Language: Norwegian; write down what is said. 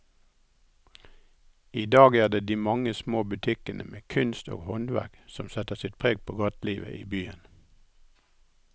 I dag er det de mange små butikkene med kunst og håndverk som setter sitt preg på gatelivet i byen.